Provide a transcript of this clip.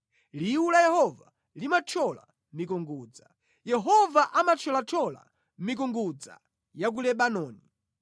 Liwu la Yehova limathyola mikungudza; Yehova amathyolathyola mikungudza ya ku Lebanoni.